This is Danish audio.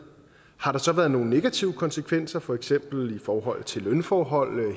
har der så været nogen negative konsekvenser for eksempel i forhold til lønforhold